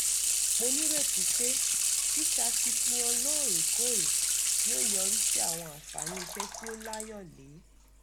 mo nírètí pé ṣíṣakitiyan lóòrèkóòrè yóò yọrí sí àwọn àǹfààní iṣẹ́ tí ó láyọ̀lé